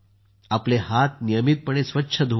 आपले हात नियमितपणे स्वच्छ धुवा